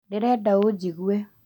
Ndĩrenda ũnjigue